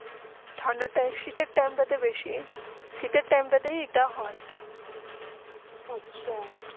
ঠাণ্ডাটা সাইট টিমটা বেশি সাইট টাইম তা যেটা হয়ে আচ্ছা